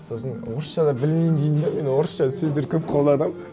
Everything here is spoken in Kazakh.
сосын орысша да білмеймін деймін де мен орысша сөздер көп қолданамын